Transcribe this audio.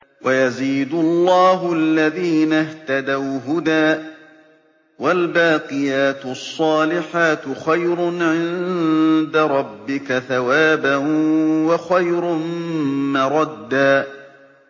وَيَزِيدُ اللَّهُ الَّذِينَ اهْتَدَوْا هُدًى ۗ وَالْبَاقِيَاتُ الصَّالِحَاتُ خَيْرٌ عِندَ رَبِّكَ ثَوَابًا وَخَيْرٌ مَّرَدًّا